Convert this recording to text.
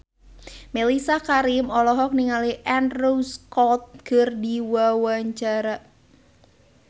Mellisa Karim olohok ningali Andrew Scott keur diwawancara